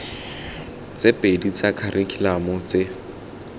tse pedi tsa kharikhulamo tse